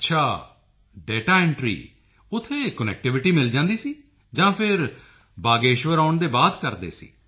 ਅੱਛਾ ਓ ਦਾਤਾ ਐਂਟਰੀ ਉੱਥੇ ਕਨੈਕਟੀਵਿਟੀ ਮਿਲ ਜਾਂਦੀ ਸੀ ਜਾਂ ਫਿਰ ਬਾਗੇਸ਼ਵਰ ਆਉਣ ਦੇ ਬਾਅਦ ਕਰਦੇ ਸੀ